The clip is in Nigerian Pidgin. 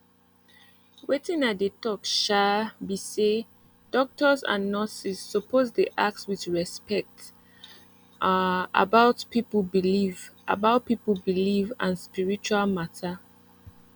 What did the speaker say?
wetin i dey talk um be say doctors and nurses suppose dey ask with respect um about people belief about people belief and spiritual matter